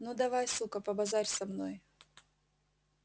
ну давай сука побазарь со мной